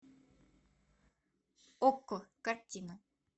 окко картина